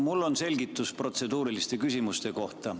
Mul on selgitus protseduuriliste küsimuste kohta.